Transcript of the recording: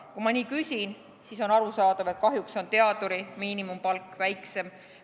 Kui ma nii küsin, siis on arusaadav, et kahjuks on teaduri miinimumpalk väiksem.